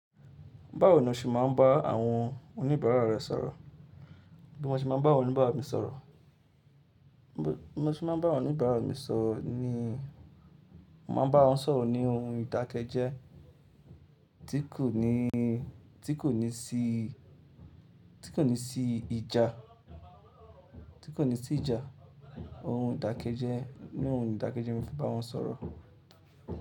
Báwo ni o ṣe máa ń bá àwọn oníbàárà rẹ sọ̀rọ̀? Bí mo ṣe máa ń bá oníbàrá mi sọ̀rọ̀, mo ṣe máa ń bá wọn ní ìbá mi sọ̀rọ̀ ni, mo máa n bá wọn sọ̀rọ̀ ní ohun ìdákẹ́jẹ́ tí kò ní, tí kò ní sí, tí kò ní sí ìjà, tí kò ní sí ìjà. Ohun ìdákẹ́jẹ́, ní ohun ìdákẹ́jẹ́ ni mo fi bá wọn sọ̀rọ̀.